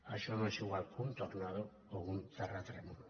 això no és igual que un tornado o un terratrè·mol